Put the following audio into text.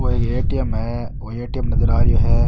यो ए.टी.एम. है वो ए.टी.एम. नजर आ रेहो है।